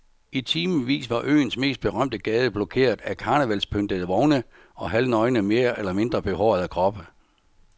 I timevis var øens mest berømte gade blokeret af karnevalspyntede vogne og halvnøgne mere eller mindre behårede kroppe.